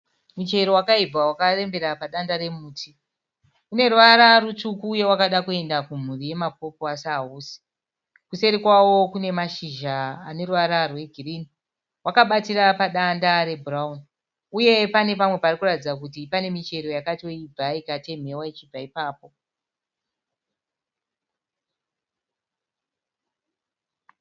Muchero wakaibva wakarembera padanda remuti. Une ruvara rutsvuku uye wakada kuenda kumhuri yemapopo asi hausi. Kuseri kwawo kune mashizha ane ruvara rwegirinhi. Wakabatira padanda rebhurauni uye pane pamwe pari kuratiza kuti pane michero yakatoibva ikatemhewa ichibva ipapo.